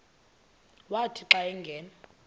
wathi xa angena